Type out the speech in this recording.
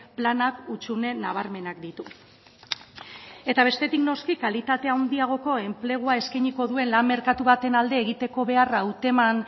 planak hutsune nabarmenak ditu eta bestetik noski kalitate handiagoko enplegua eskainiko duen lan merkatu baten alde egiteko beharra hauteman